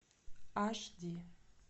аш ди